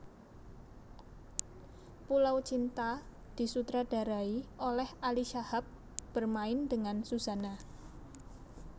Pulau Cinta disutradarai oleh Ali Shahab bermain dengan Suzanna